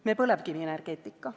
Me põlevkivienergeetika.